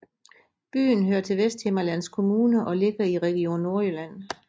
Byen hører til Vesthimmerlands Kommune og ligger i Region Nordjylland